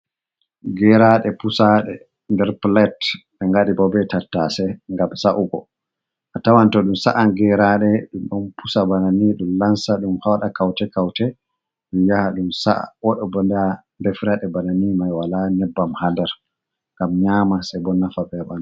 Geraaɗe pusaɗe nder pulet, ɓe ngaɗi bo be tattase ngam sa’ugo.A tawan to ɗum sa’an geraaɗe ɗum ,ɗum pusa bana ni ,ɗum lansa, ɗum haɗa kawte-kawte ,ɗum yaha, ɗum sa’a. Ɗo bo ndaa defre bana ni may wala nyebbam haa nder ngam nyaama ,sey bo nafa ɓe a ɓanndu.